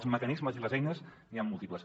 de mecanismes i eines n’hi han múltiples